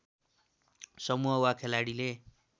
समूह वा खेलाडीले